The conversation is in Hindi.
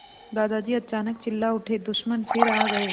दादाजी अचानक चिल्ला उठे दुश्मन फिर आ गए